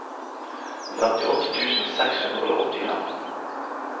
femtiåtte tusen seks hundre og åttifem